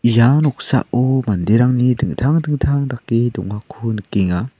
ia noksao manderangni dingtang dingtang dake dongako nikenga.